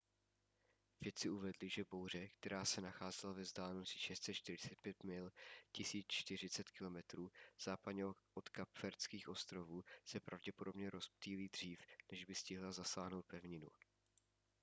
vědci uvedli že bouře která se nacházela ve vzdálenosti 645 mil 1040 km západně od kapverdských ostrovů se pravděpodobně rozptýlí dřív než by stihla zasáhnout pevninu